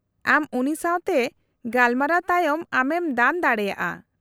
-ᱟᱢ ᱩᱱᱤ ᱥᱟᱶᱛᱮ ᱜᱟᱞᱢᱟᱨᱟᱣ ᱛᱟᱭᱚᱢ ᱟᱢᱮᱢ ᱫᱟᱱ ᱫᱟᱲᱮᱭᱟᱜᱼᱟ ᱾